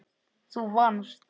Þú vannst.